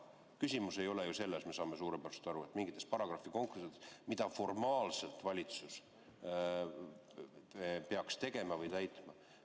Küsimus ei ole ju, me saame suurepäraselt aru, mingites paragrahvikonksudes, mida formaalselt valitsus peaks tegema või täitma.